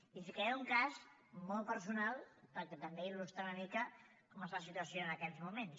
i ficaré un cas molt personal perquè també il·lustra una mica com està la situació en aquests moments